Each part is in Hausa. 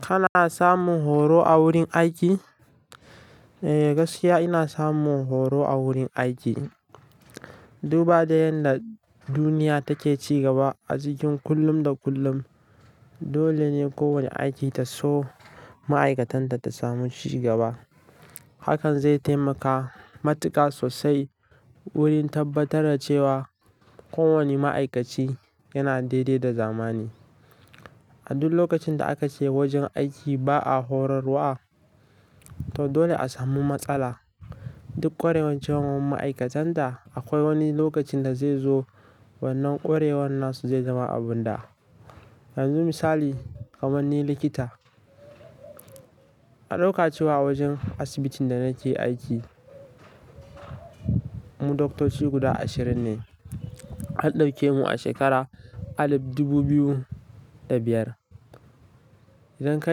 Kana samun horo a wurin aiki? Eh, gaskiya ina samun horo a wurin aiki. Duba da yadda duniya take ci gaba a cikin kullum da kullum, dole ne kowane aiki ta so ma'aikatan ta ta samu ci gaba. Hakan zai taimaka matuƙa sosai wurin tabbatar da cewa kowane ma'aikaci yana daidai da zamani. A duk lokacin da aka je wajen aiki ba a horarwa, to dole a samu matsala. Duk ƙwarewan cewan ma'aikatan ta, akwai wani lokacin da zai zo wannan ƙwarewan nasu zai zama abunda. Yanzu misali, kaman ni likita, an ɗauka cewa a wajen asibitin da nake aiki, mu doktoci guda ashirin ne. An ɗauke mu a shekara alif dubu biyu da biyar. Idan ka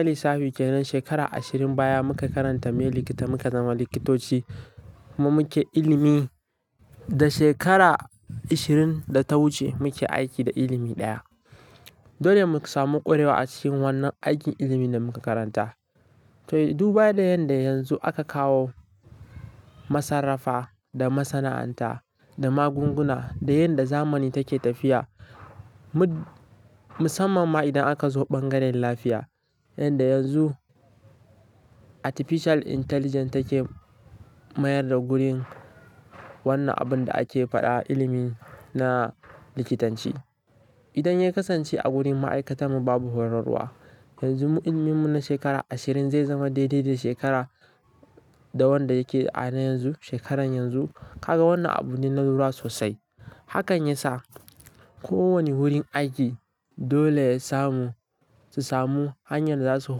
lissafi kenan shekara ashirin baya muka karanta me likita muka zama likitoci, kuma muke ilimi da shekara ashirin da ta wuce muke aiki da ilimi ɗaya. Dole mu ka samu ƙwarewa a cikin wannan aikin ilimin da muka karanta. To, duba da yanda yanzu aka kawo masarrafa da masana'anta da magunguna da yanda zamani take tafiya, mut-- musamman ma idan aka zo bangaren lafiya. Yanda yanzu artificial intelligence take mayar da gurin wannan abin da ake faɗa ilimi na likitanci. Idan ya kasance a gurin ma'aikata mu babu horarwa, yanzu ilimin mu na shekara ashirin zai zama daidai da shekara da wanda yake ana yanzu, shekaran yanzu. Kaga wannan abune nalura sosai. Hakan ya sa kowane wurin aiki dole ya samu, su samu hanyar da za su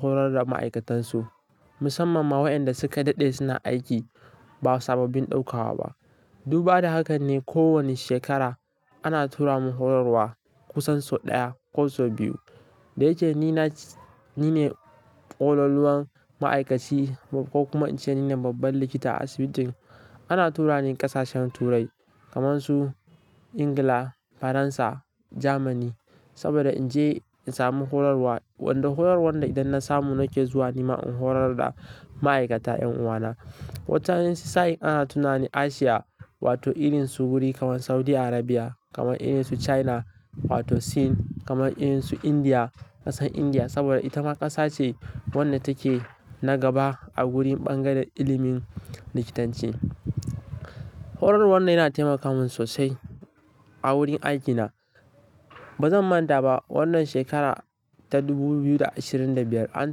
horar da ma'aikatan su, musamman ma waɗanda suka daɗe suna aiki ba sababbin ɗaukawa ba. Duba da haka ne kowane shekara ana tura mu horarwa kusan sau ɗaya ko sau biyu. Da yake ni na ce-- ni ne ƙololuwan ma'aikaci ko kuma ce ni ne babban likita a asibitin, ana tura ni ƙasashen turai kamar su Ingila, Faransa, Jamani saboda in je in samu horarwa. Wanda horarwar da idan na samu nake zuwa nima in horar da ma'aikata 'yan uwana. Wataran sain ana tuna ni Asiya wato ilinsu guri kamar Saudi Arabia, kamar ilinsu China wato Sin, kamar ilinsu Indiya, ƙasar India saboda ita ma ƙasa ce wanda take na gaba a gurin bangaren ilimin likitanci. Horarwar nan yana taimaka mun sosai a wurin aikina. Ba zan manta ba wannan shekara ta dubu biyu da ashirin da biyar an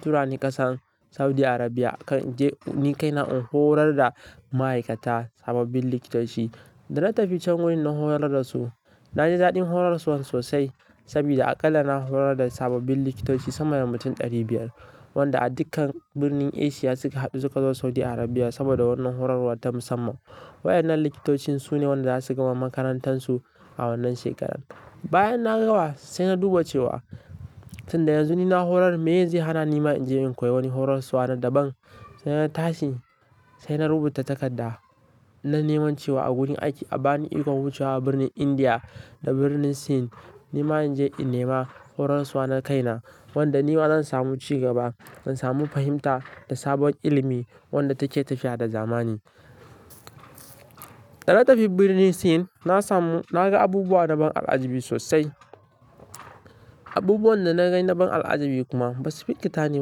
tura ni ƙasar Saudi Arabia in je ni kaina in horar da ma'aikata sababbin likitoci. Da na tafi can wurin na horar da su, na ji daɗin horarsu sosai saboda aƙalla na horar da sababbin likitoci sama da mutum ɗari biyar, wanda a dukkan birnin Asia suka haɗu suka zo Saudi Arabia saboda wannan horarwar ta musamman. Wayannan likitocin su ne waɗanda za su gama makarantar su a wannan shekaran. Bayan na gama sai na duba cewa tun da yanzu ni na horar me ye zai hana nima in je in koyi wani horarsuwa na daban. Sai na tashi, sai na rubuta takarda na neman cewa a gurin aiki a bani ikon wucewa birnin India da birnin Sin nima in je in nema horarswa na kaina wanda nima zan samu cigaba, zan samu fahimta da sabon ilimi wanda take tafiya da zamani. Da na tafi birnin Sin, na samu-- na ga abubuwa daban al'ajabi sosai, abubuwan da na gani daban al'ajabi kuma ba su fi ƙita ni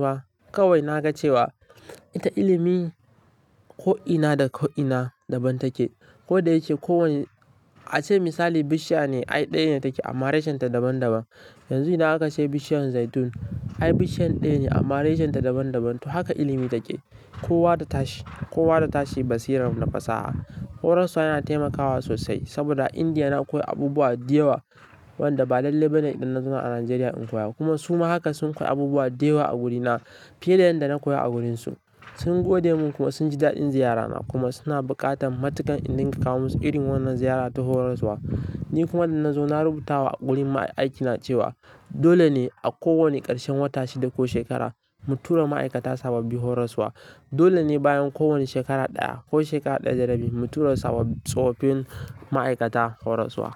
ba. Kawai na ga cewa ita ilimi ko'ina da ko'ina daban take. Kodayake ko wanne-- a ce misali bishiya ne, ai ɗaya ne take amma reshen ta daban daban. Yanzu idan aka ce bishiyar zaitun, ai bishiya ɗaya ne amma reshen ta daban daban. To haka ilimi take. Kowa da tashi, kowa da tashi basiran na fasaha. Horarsuwa yana taimakawa sosai saboda a India na koyi abubuwa diyawa wanda ba lallai ba ne idan na zo Najeriya in koya. Kuma su ma haka sun koyi abubuwa diyawa a wurina fiye da yanda na koya a wurin su. Sun gode mun kuma sun ji daɗin ziyarana kuma suna buƙatan matuƙa in dinga kawo musu irin wannan ziyara ta horarsuwa. Ni kuma da na zo na rubuta wa wurin aikina cewa dole ne a kowane ƙarshen wata shida ko shekara mu tura ma'aikata sababbi horarswa. Dole ne bayan kowane shekara ɗaya ko shekara ɗaya da rabi mu tura sababbi tsofaffin ma'aikata horarswa.